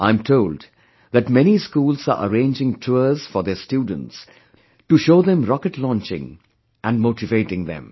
I am told that many schools are arranging tour for their students to show them rocket launching and motivate them